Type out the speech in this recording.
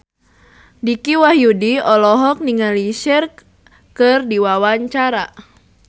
Dicky Wahyudi olohok ningali Cher keur diwawancara